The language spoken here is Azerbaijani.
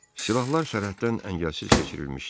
Silahlar sərhəddən əngəlsiz keçirilmişdi.